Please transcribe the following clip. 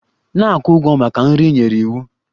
Na-akwụ ụgwọ maka nri ị nyere iwu!